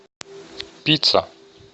пицца